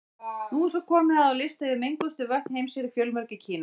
Nú er svo komið að á lista yfir menguðustu vötn heims eru fjölmörg í Kína.